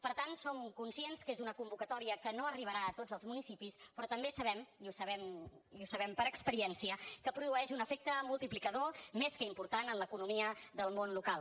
per tant som conscients que és una convocatòria que no arribarà a tots els municipis però també sabem i ho sabem per experiència que produeix un efecte multiplicador més que important en l’economia del món local